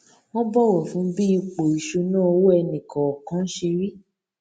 wón bọwọ fún bí ipò ìṣúnná owó ẹnì kòòkan ṣe rí